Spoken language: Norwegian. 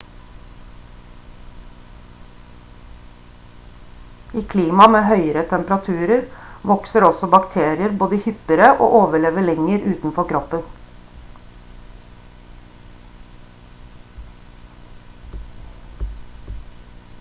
i klima med høyere temperaturer vokser også bakterier både hyppigere og overlever lenger utenfor kroppen